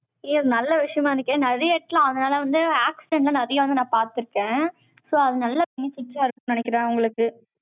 ஐயா, நல்ல விஷயமா இருக்கே. நிறைய இடத்தில, அதனால வந்து, accident தான், நிறைய வந்து, நான் பார்த்திருக்கேன். so அது, நல்லா, benefits ஆ இருக்கும்ன்னு, நினைக்கிறேன், உங்களுக்கு